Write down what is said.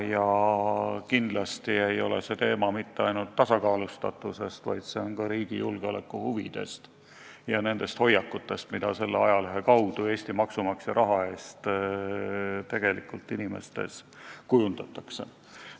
Ja kindlasti ei ole küsimus ainult tasakaalustatuses, küsimus on ka riigi julgeoleku huvides ja nendes hoiakutes, mida selle ajalehe kaudu Eesti maksumaksja raha eest inimestes kujundatakse.